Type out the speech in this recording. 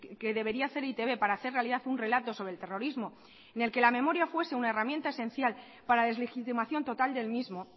que debería hacer e i te be para hacer realidad un relato sobre el terrorismo en el que la memoria fuese una herramienta esencial para deslegitimación total del mismo